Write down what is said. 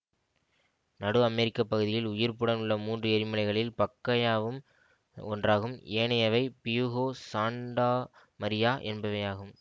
நடு அமெரிக்க பகுதியில் உயிர்ப்புடன் உள்ள மூன்று எரிமலைகளில் பக்கயாவும் ஒன்றாகும் ஏனையவை பியூகோ சான்டா மரியா என்பவையாகும்